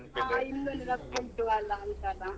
ಹಾ ಇನ್ನು ನೆನಪುಂಟು ಅಲಾ ಅಂತ ಅಲಾ.